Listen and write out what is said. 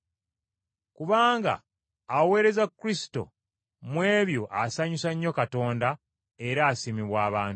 Kubanga aweereza Kristo mu ebyo asanyusa nnyo Katonda era asiimibwa abantu.